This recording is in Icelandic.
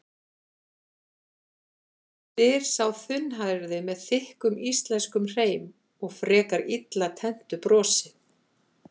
spyr sá þunnhærði með þykkum íslenskum hreim og frekar illa tenntu brosi.